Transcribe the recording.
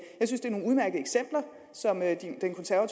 så det med at